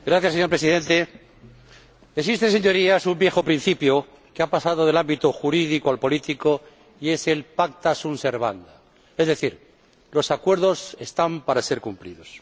Señor Presidente, Señorías, existe un viejo principio que ha pasado del ámbito jurídico al político y es el de pacta sunt servanda, es decir, los acuerdos están para ser cumplidos.